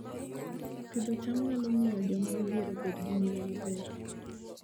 Pidho cham nyalo miyo joma odhier obed gi ngima maber